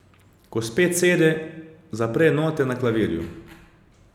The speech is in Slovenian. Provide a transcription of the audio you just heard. Ko spet sede, zapre note na klavirju.